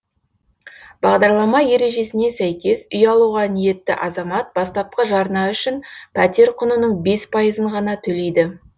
бағдарлама ережесіне сәйкес үй алуға ниетті азамат бастапқы жарна үшін пәтер құнының бес пайызын ғана төлейді